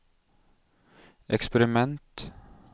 eksperiment